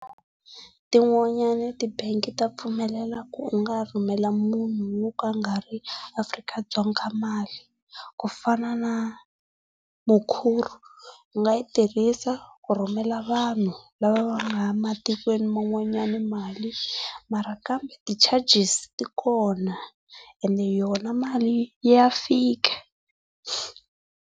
Tin'wanyana tibangi ta pfumelela ku u nga rhumela munhu wo ka a nga i Afrika-Dzonga mali. Ku fana na Mukuru, u nga yi tirhisa ku rhumela vanhu lava va nga ematikweni man'wana mali mara kambe ti charges ti kona ende yona mali ya fika.